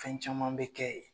Fɛn caman bɛ kɛ yen.